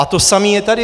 A to samé je tady.